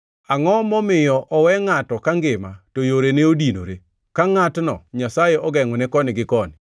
Angʼo momiyo owe ngʼato ka ngima to yorene odinore, ka ngʼatno Nyasaye ogengʼone koni gi koni?